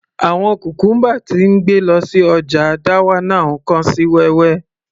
Àwọn cucumber tí ń gbé lọ sí ọjà dawanau kán sí wẹ́wẹ́